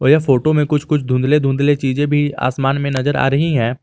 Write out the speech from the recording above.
और ये फोटो में कुछ कुछ ढूंढ ले ढूंढ ले चीजें भी आसमान में नजर आ रही हैं।